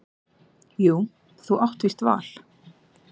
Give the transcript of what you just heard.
Jú þú átt víst val.